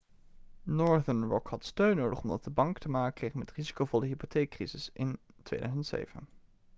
northern rock had steun nodig omdat de bank te maken kreeg met de risicovolle hypotheekcrisis in 2007